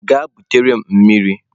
Gaa butere m mmiri!